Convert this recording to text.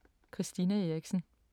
Christina Eriksen